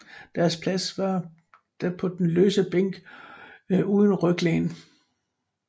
Deres plads var da på den løse bænk uden ryglæn